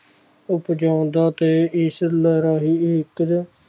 ਉੱਪ ਜਾਣਦਾ ਤੇ ਈਸ਼ਵਰ ਲਹਿਰਾਰੀ ਇਕ